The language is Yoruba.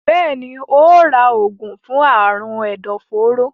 Béèni óò rà oògùn fún Àrùn ẹdọforó.